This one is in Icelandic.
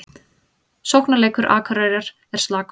Sóknarleikur Akureyrar er slakur